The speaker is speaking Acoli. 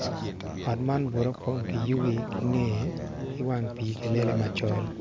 Ot man bute opong ki yugi kinge kiwang pi kalele macol.